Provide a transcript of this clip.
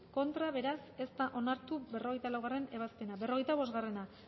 contra beraz ez da onartu berrogeita laugarrena ebazpena berrogeita bost